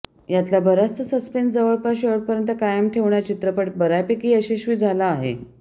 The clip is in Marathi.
यातला बराचसा सस्पेन्स जवळपास शेवटपर्यंत कायम ठेवण्यात चित्रपट बऱ्यापैकी यशस्वी झाला आहे